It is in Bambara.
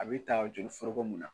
A bɛ taa joli foroko mun na.